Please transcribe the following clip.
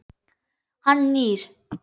Hann nýr.